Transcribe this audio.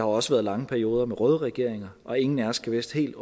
også været lange perioder med røde regeringer og ingen af os kan vist helt